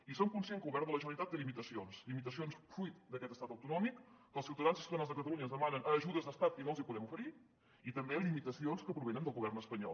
i soc conscient que el govern de la generalitat té limitacions limitacions fruit d’aquest estat autonòmic que els ciutadans i ciutadanes de catalunya ens demanen ajudes d’estat i no els les podem oferir i també limitacions que provenen del govern espanyol